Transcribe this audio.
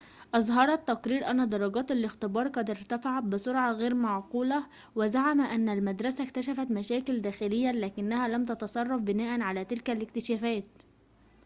أظهر التقرير أن درجات الاختبار قد ارتفعت بسرعة غير معقولة وزعم أن المدرسة اكتشفت مشاكل داخلياً لكنها لم تتصرف بناءً على تلك الاكتشافات